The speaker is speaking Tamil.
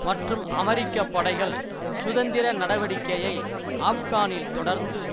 மற்றும் அமெரிக்க படைகள் சுதந்திர நடவடிக்கையை ஆப்கானில் தொடர்ந்து